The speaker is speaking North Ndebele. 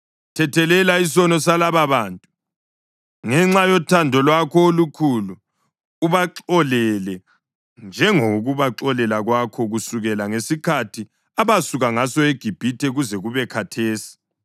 Thethelela isono salababantu, ngenxa yothando lwakho olukhulu, ubaxolele njengokubaxolela kwakho kusukela ngesikhathi abasuka ngaso eGibhithe kuze kube khathesi.”